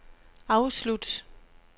afslut